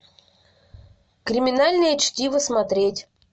криминальное чтиво смотреть